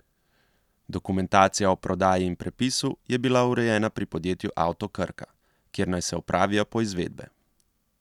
Dokumentacija o prodaji in prepisu je bila urejena pri podjetju Avto Krka, kjer naj se opravijo poizvedbe.